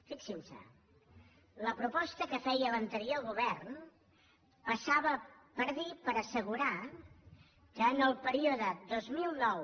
fixin se la proposta que feia l’anterior govern passava per dir per assegurar que en el període dos mil nou